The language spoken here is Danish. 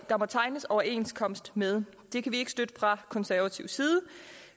der må tegnes overenskomst med det kan vi ikke støtte fra konservativ side